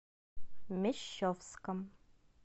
мещовском